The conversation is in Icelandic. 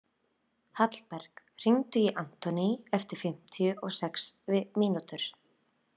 Hallberg, hringdu í Anthony eftir fimmtíu og sex mínútur.